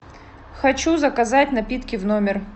хочу заказать напитки в номер